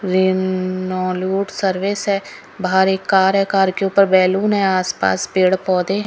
रेनोलूट service है बाहर एक कार है कार के ऊपर बैलून है आस पास पेड़ पौधे हैं।